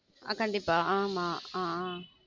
ஆ கண்டிப்பா ஆமா ஆஹ் ஆஹ்